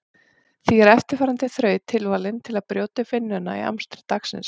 Því er eftirfarandi þraut tilvalin til að brjóta upp vinnuna í amstri dagsins.